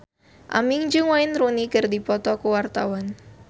Aming jeung Wayne Rooney keur dipoto ku wartawan